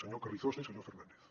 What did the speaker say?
senyor carrizosa i senyor fernández